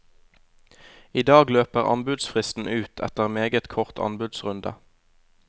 I dag løper anbudsfristen ut, etter meget kort anbudsrunde.